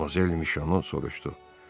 Madmazel Müşo soruşdu.